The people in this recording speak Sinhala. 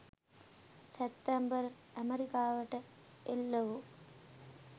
සැප්තැම්බර් ඇමරිකාවට එල්ල වූ